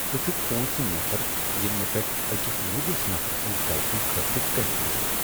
ژٕ چھُکھ پوٗنٛژم نفر ییٚمۍ مےٚ پیٹھ أکس نٔوس نفرٕ سٕنٛز غلطی خٲطرٕ کرٛیکھ لٲج۔